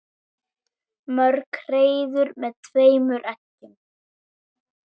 Mörg hreiður með tveimur eggjum.